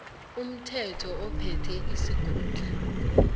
umthetho ophethe isikhundla